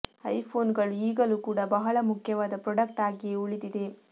iPhone ಗಳು ಈಗಲೂ ಕೂಡ ಬಹಳ ಮುಖ್ಯವಾದ ಪ್ರೊಡಕ್ಟ್ ಆಗಿಯೇ ಉಳಿದಿದೆ